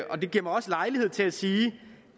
det giver mig også lejlighed til at sige